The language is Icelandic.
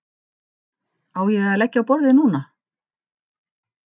Á ég að leggja á borðið núna?